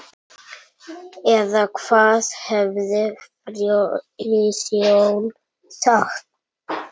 Eða hvað hefði Friðjón sagt?